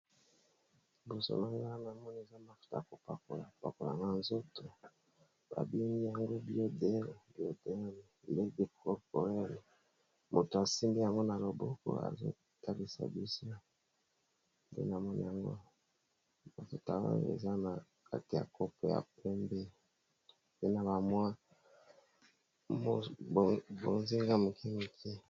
Liboso nanga namoni eza mafuta ya kopakola kopakola na nzoto ba bengi yango biodel corporel, moto asimbi yango na loboko azotalisa biso nde namoni yango awa, mafuta yango eza na kati ya kopo ya pembe, pe na ba mwa bozinga ya moke.